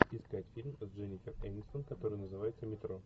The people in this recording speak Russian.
искать фильм с дженнифер энистон который называется метро